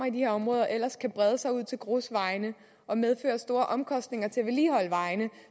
i de her områder ellers kan brede sig ud til grusvejene og medføre store omkostninger til at vedligeholde vejene